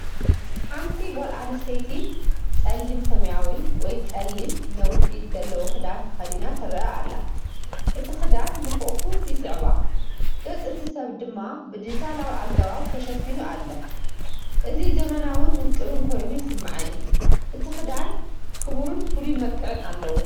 ሓንቲ ጓል ኣንስተይቲ ጸሊም ሰማያዊ ወይ ጸሊም፡ነዊሕ ኢድ ዘለዎ ክዳን ተኸዲና ትረአ ኣላ። እቲ ክዳን ንሕቝፋ ይስዕባ፡ ገጽ እቲ ሰብ ድማ ብዲጂታላዊ ኣገባብ ተሸፊኑ ኣሎ። እዚ ዘመናውን ውቁብን ኮይኑ ይስምዓኒ። እቲ ክዳን ክቡርን ፍሉይን መልክዕ ኣለዎ።